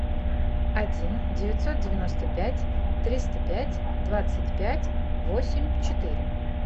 один девятьсот девяносто пять триста пять двадцать пять восемь четыре